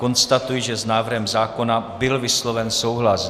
Konstatuji, že s návrhem zákona byl vysloven souhlas.